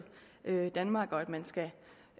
danmark og at man skal